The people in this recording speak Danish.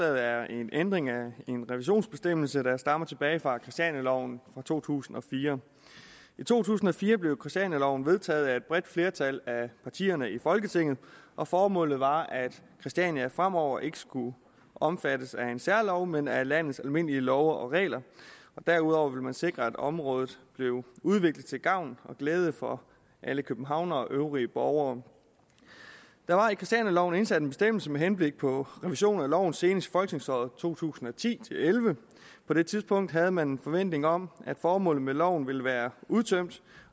er en ændring af en revisionsbestemmelse der stammer tilbage fra christianialoven fra to tusind og fire i to tusind og fire blev christianialoven vedtaget af et bredt flertal af partierne i folketinget og formålet var at christiania fremover ikke skulle omfattes af en særlov men af landets almindelige love og regler derudover ville man sikre at området blev udviklet til gavn og glæde for alle københavnere og øvrige borgere der var i christianialoven indsat en bestemmelse med henblik på revision af loven senest i folketingsåret to tusind og ti til elleve på det tidspunkt havde man en forventning om at formålet med loven ville være udtømt